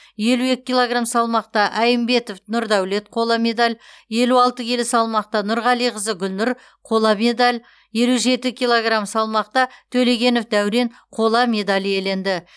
елу екі килограмм салмақта әймбетов нұрдаулет қола медаль елу алты келі салмақта нұрғалиқызы гүлнұр қола медаль елу жеті килограмм салмақта төлегенов дәурен қола медаль иеленді